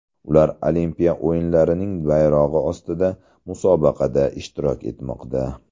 Ular olimpiya o‘yinlarining bayrog‘i ostida musobaqada ishtirok etmoqda.